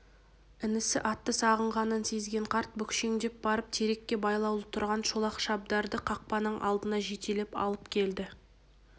інісі атты сағынғанын сезген қарт бүкшеңдеп барып терекке байлаулы тұрған шолақ шабдарды қақпаның алдына жетелеп алып келді